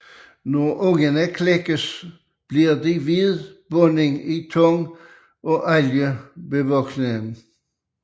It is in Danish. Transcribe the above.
Når ungerne klækkes bliver de ved bunden i tang og algebevoksningen